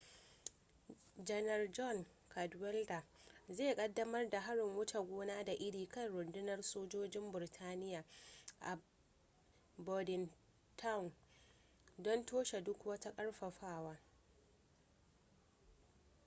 janar john cadwalder zai kaddamar da harin wuce gona da iri kan rundunar sojojin burtaniya a bordentown don toshe duk wani karfafawa